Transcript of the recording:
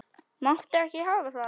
Máttu ekki hafa það.